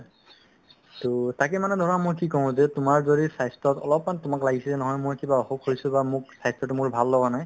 to তাকে মানে ধৰা মই কি কওঁ যে তোমাৰ যদি স্বাস্থ্যৰ অলপমান তোমাক লাগিছে যে নহয় মই কিবা অসুখ হৈছো বা মোক স্বাস্থ্যতো মোৰ ভাল লগা নাই